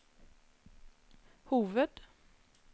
hoved